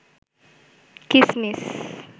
কিসমিস